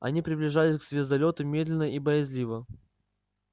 она приближалась к звездолёту медленно и боязливо